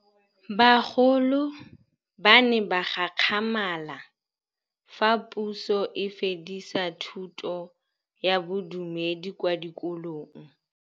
Bagolo ba ne ba gakgamala fa Pusô e fedisa thutô ya Bodumedi kwa dikolong.